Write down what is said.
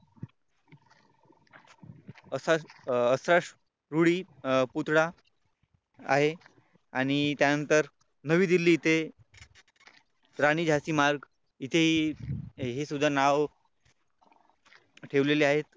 असाच रुढी पुतळा आहे आणि त्यानंतर नवी दिल्ली इथे राणी झाशी मार्ग इथेही हे सुद्धा नाव ठेवलेले आहेत.